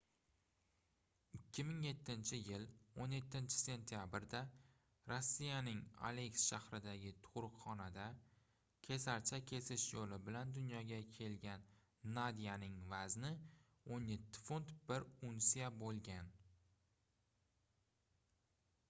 2007-yil 17-sentyabrda rossiyaning aleysk shahridagi tugʻruqxonada kesarcha kesish yoʻli bilan dunyoga kelgan nadyaning vazni 17 funt 1 unsiya boʻlgan